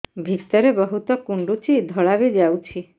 ଭିତରେ ବହୁତ କୁଣ୍ଡୁଚି ଧଳା ବି ଯାଉଛି